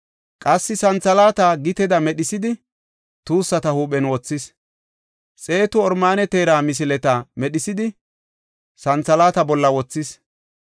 Qassi santhalaata giteda medhisidi, tuussata huuphen wothis; xeetu oromaane teera misileta medhisidi, santhalaata bolla wothis.